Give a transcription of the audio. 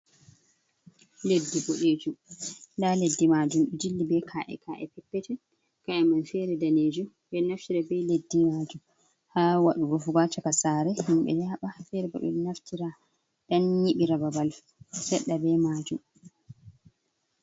Leddi boɗejum nda leddi majun do jilli be ka’e ka’e peppeton ka’i man fere danejum ɓe ɗo naftira be leddi majum ha waɗugo rufu go ha caka sare, himɓɓe yaɓa fere ɓe ɗo naftira ɗan yibi ra babal seɗɗa be majum.